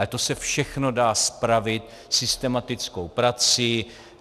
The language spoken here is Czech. Ale to se všechno dá spravit systematickou prací.